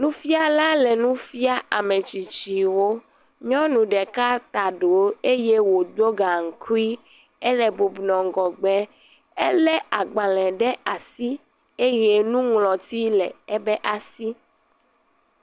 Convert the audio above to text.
Nufiala le nufia ametsitsiwo, nyɔnu ɖeka ta ɖõ eye wo ɖo gakui, ele bubɔnɔ ŋgɔgbe, elé agbalẽ ɖe asi eye nuŋlɔti le ebe asi.